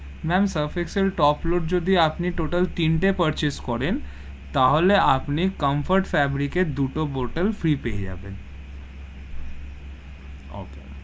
Ma'am Surf Excel top load যদি আপনি total তিন তে purchase করেন, তাহলে আপনি কমফোর্ট fabric এর দুটো bottle free পেয়ে জাবেন, okay,